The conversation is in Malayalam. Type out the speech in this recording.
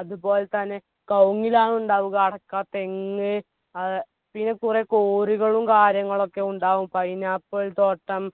അതുപോലെതന്നെ കൗങ്ങിലാണ് ഉണ്ടാവുക അടക്ക തെങ്ങ് ആഹ് പിന്നെ കുറെ കോരുകളും കാര്യങ്ങളൊക്കെ ഉണ്ടാകും pineapple തോട്ടം